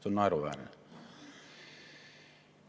See on naeruväärne.